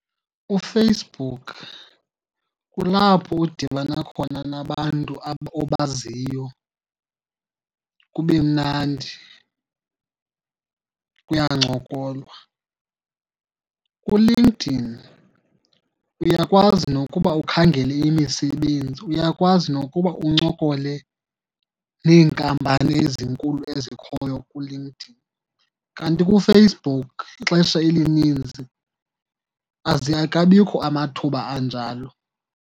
UFacebook kulapho udibana khona nabantu obaziyo kube mnandi, kuyancokolwa. ULinkedIn uyakwazi nokuba ukhangele imisebenzi, uyakwazi nokuba uncokole neenkampani ezinkulu ezikhoyo kuLinkedIn. Kanti kuFacebook ixesha elininzi akabikho amathuba anjalo.